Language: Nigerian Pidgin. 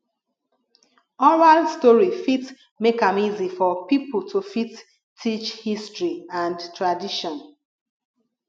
oral story fit make am easy for pipo to fit teach history and tradition